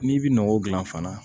N'i bi nɔgɔ dilan fana